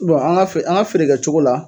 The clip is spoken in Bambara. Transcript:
an ga an a feere kɛcogo la